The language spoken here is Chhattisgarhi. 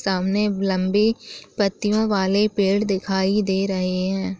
सामने लंबी पत्तियों वाले पेड़ दिखाई दे रहे हैं।